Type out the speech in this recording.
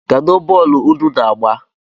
Kedu bọlụ ụnụ´na-agba?